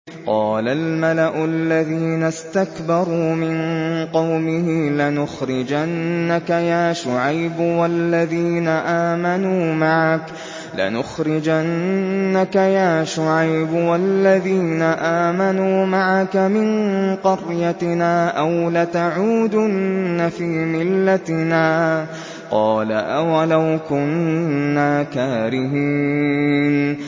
۞ قَالَ الْمَلَأُ الَّذِينَ اسْتَكْبَرُوا مِن قَوْمِهِ لَنُخْرِجَنَّكَ يَا شُعَيْبُ وَالَّذِينَ آمَنُوا مَعَكَ مِن قَرْيَتِنَا أَوْ لَتَعُودُنَّ فِي مِلَّتِنَا ۚ قَالَ أَوَلَوْ كُنَّا كَارِهِينَ